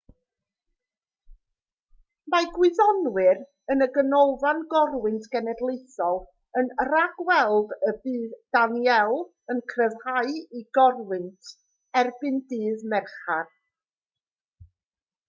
mae gwyddonwyr yn y ganolfan gorwynt genedlaethol yn rhag-weld y bydd danielle yn cryfhau i gorwynt erbyn dydd mercher